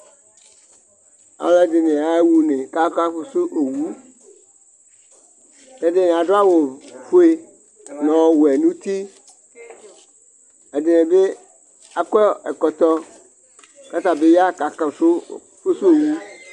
Alʋɛdɩnɩ yaɣa une kʋ aka fʋsʋowʋ Ɛdɩnɩ adʋ awʋfue nʋ ɔwɛ nʋ uti Ɛdɩnɩ bɩ akɔ ɛkɔtɔ, kʋ ata bɩ ya kʋ aka fʋsʋ owʋ